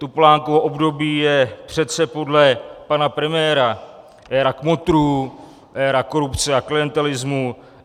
Topolánkovo období je přece podle pana premiéra éra kmotrů, éra korupce a klientelismu.